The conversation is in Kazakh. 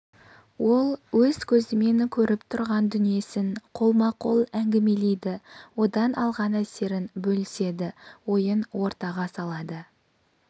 ол өз көзімен көріп тұрған дүниесін қолма-қол әңгімелейді одан алған әсерін бөліседі ойын ортаға салады